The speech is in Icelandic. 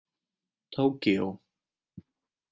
Tókíó